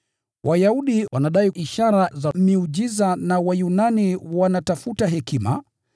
Wayahudi wanadai ishara za miujiza na Wayunani wanatafuta hekima.